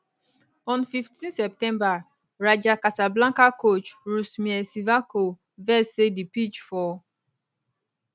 on 15 september raja cassablanca coach rusmir cvirko vex say di pitch for